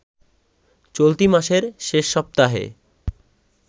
চলতি মাসের শেষ সপ্তাহে